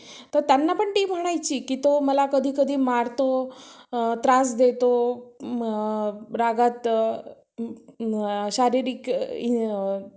स्वतःच्या ह्याच्यावर आपण करू शकतो आता करू शकतो आता. आता जर आपली चार वर्षाची degree आहे. चार वर्षासाठी आपण कर्ज घेऊ.